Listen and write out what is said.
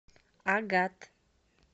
агат